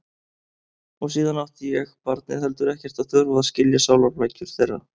Og síðan átti ég, barnið, heldur ekkert að þurfa að skilja sálarflækjur þeirra.